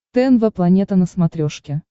тнв планета на смотрешке